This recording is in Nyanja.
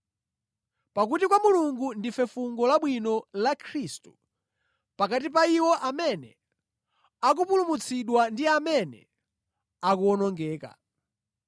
Pakuti kwa Mulungu ndife fungo labwino la Khristu pakati pa iwo amene akupulumutsidwa ndi amene akuwonongeka.